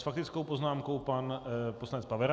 S faktickou poznámkou pan poslanec Pavera.